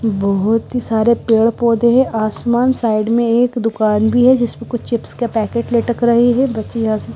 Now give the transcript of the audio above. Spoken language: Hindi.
बहोत ही सारे पेड़ पौधे हैं आसमान साइड में एक दुकान भी है जिसमें कुछ चिप्स के पैकेट लटक रहे है --